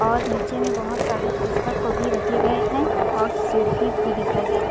और नीचे में बहुत सारे पुस्तक को भी रखे गए है और सीढ़ी भी दिखाई दे रही-- .